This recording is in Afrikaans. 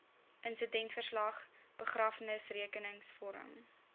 insidentverslag begrafnisrekenings vorm